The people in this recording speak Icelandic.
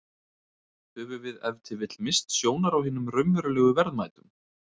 Höfum við ef til vill misst sjónar á hinum raunverulegu verðmætum?